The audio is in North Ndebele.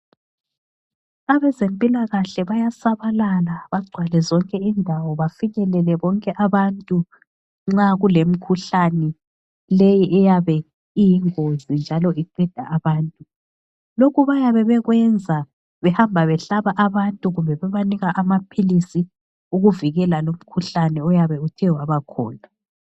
Abezempilakahle bayasabalala bagcwale zonke indawo bafikelele bonke abantu nxa kulemikhuhlane le eyabe iyingozi njalo iqeda abantu. Lokhu bayabe bekwenza behamba behlaba abantu kumbe bebanika amaphilisi ukuvikela lumkhuhlane oyabe uthe wabakhona.